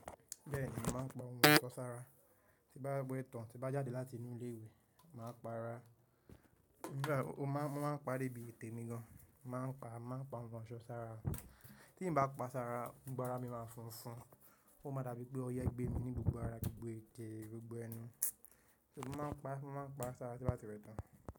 Bẹ́ẹ̀ni, màá ń pa ohun ọ̀ṣọ́ sára. Tí bá gbe ẹ̀tàn tí bá jáde láti inú ilé ìwé, màá pa ara, nígbà wo máa ń pa débi ètè mi gan, màá ń pa, màá ń pa ohun ọ̀ṣọ́ sára. Tí n bá pa sára, gbogbo ara mi máa funfun, ó máa dàbí pé o yẹ gbé mi ní gbogbo ara, gbogbo ẹte, gbogbo ẹnu. So màá ń pa, màá ń pa sára tí bá ti wẹ̀ tán.